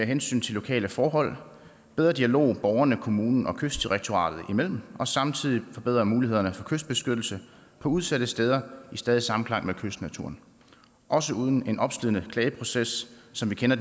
hensyn til lokale forhold bedre dialog borgerne og kommunen og kystdirektoratet imellem og samtidig forbedre mulighederne for kystbeskyttelse på udsatte steder i stadig samklang med kystnaturen også uden en opslidende klageproces som vi kender